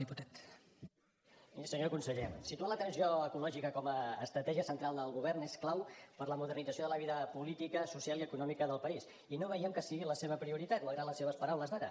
miri senyor conseller situar la transició ecològica com a estratègia central del govern és clau per a la modernització de la vida política social i econòmica del país i no veiem que sigui la seva prioritat malgrat les seves paraules d’ara